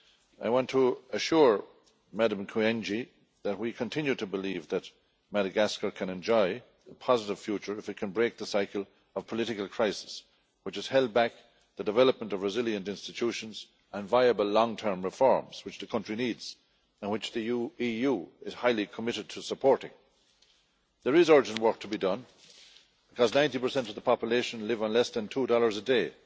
I want to assure Ms Kyenge that we continue to believe that Madagascar can enjoy a positive future if it can break the cycle of political crisis which has held back the development of resilient institutions and viable long term reforms, which the country needs and which the EU is highly committed to supporting. There is urgent work to be done, as 90 of the population live on less than USD 2 per day